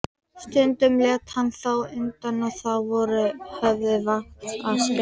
Stundum lét hann þó undan og þá voru höfð vaktaskipti.